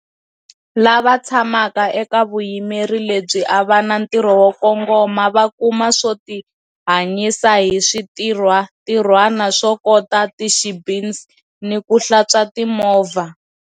Lava tshamaka eka vuyimeri lebyi a va na ntirho wo kongoma, va kuma swo tihanyisa hi switirhwantirhwani swo kota ti-shebeens ni ku hlantswa timovha.